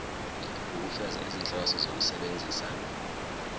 ukufeza izinhloso zokusebenzisa